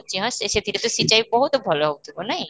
କିଛି ନାଇଁ ସେଥିରେ ତ ବହୁତ ଭଲ ହଉଥିବ ନାଇଁ?